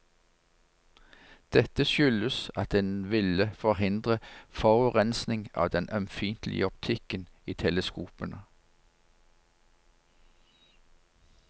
Dette skyldes at en ville forhindre forurensing av den ømfintlige optikken i teleskopene.